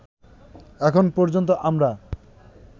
এখন পর্যন্ত আমরা